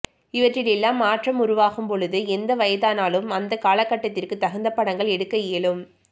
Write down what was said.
இவற்றில் எல்லாம் மாற்றம் உருவாகும் பொழுது எந்த வயதானாலும் அந்த காலகட்டத்திற்கு தகுந்த படங்கள் எடுக்க இயலும்